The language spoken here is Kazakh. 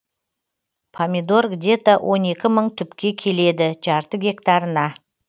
помидор где то он екі мың түпке келеді жарты гектарына